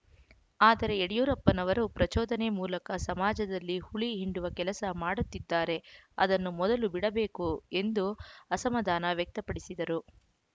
ಆದರೆ ಯಡಿಯೂರಪ್ಪನವರು ಪ್ರಚೋದನೆ ಮೂಲಕ ಸಮಾಜದಲ್ಲಿ ಹುಳಿ ಹಿಂಡುವ ಕೆಲಸ ಮಾಡುತ್ತಿದ್ದಾರೆ ಅದನ್ನು ಮೊದಲು ಬಿಡಬೇಕು ಎಂದು ಅಸಮಾಧಾನ ವ್ಯಕ್ತಪಡಿಸಿದರು